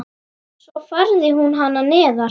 Svo færði hún hana neðar.